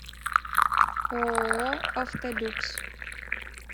ооо автолюкс